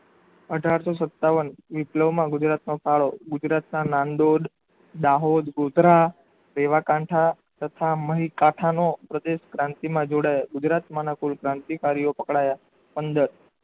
અઢારસો સતાવન વિપ્લવમાં ગુજરાતનો ફાળો ગુજરાતના નણંદોડ દાહોદ ગોધરા દેવા કાંઠા તથા મહીકાઠાનો પ્રદેશ ક્રાંતિમાં જોડાયો ગુજરાતમાંના કુલ કાન્તિકારીઓ પકડાયા પંદર